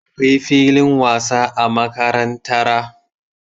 Akwai filin wasa a makarantara